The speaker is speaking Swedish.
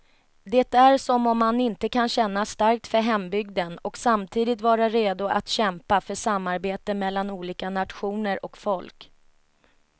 Det är som om man inte kan känna starkt för hembygden och samtidigt vara redo att kämpa för samarbete mellan olika nationer och folk.